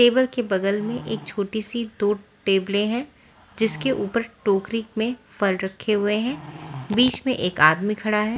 Table के बगल में एक छोटी सी दो टेबल है जिसके ऊपर टोकरी में फल रखे हुए हैं बीच में एक आदमी खड़ा है।